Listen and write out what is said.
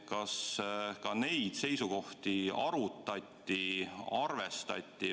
Kas ka neid seisukohti arutati ja arvestati?